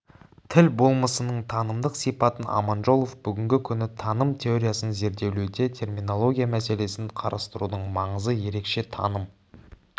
тіл болмысының танымдық сипатын аманжолов бүгінгі күні таным теориясын зерделеуде терминология мәселесін қарастырудың маңызы ерекше таным